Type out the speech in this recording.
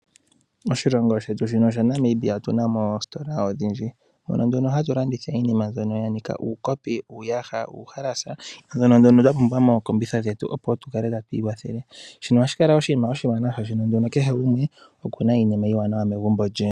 Moshilongo shetu shino shaNamibia otu na mo oositola odhindji. Ndhono nduno hadhi landitha iinima mbyono ya nika uukopi, uuyaha nuuhalasa, mbyono twa pumbwa mookombitha dhetu opo tu kale tatu iwathele. Shino ohashi kala oshinima oshiwanawa, oshoka kehe gumwe oku na iinima iiwanawa megumbo lye.